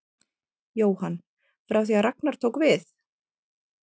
Jóhann: Frá því að Ragnar tók við?